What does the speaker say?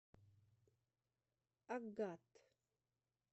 агат